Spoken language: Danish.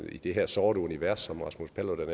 i det her sorte univers som rasmus paludan